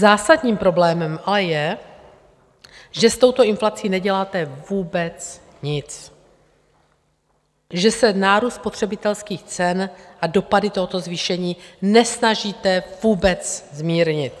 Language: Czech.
Zásadním problémem ale je, že s touto inflací neděláte vůbec nic, že se nárůst spotřebitelských cen a dopady tohoto zvýšení nesnažíte vůbec zmírnit.